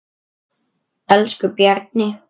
Elsku Bjarni.